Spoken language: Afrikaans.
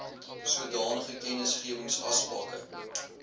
sodanige kennisgewings asbakke